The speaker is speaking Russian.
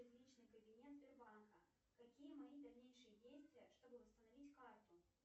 в личный кабинет сбербанка какие мои дальнейшие действия чтобы восстановить карту